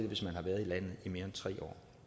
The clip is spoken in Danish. hvis man har været i landet i mere tre